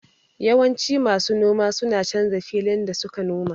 Yawanci masu noma suna canza filin da suke noma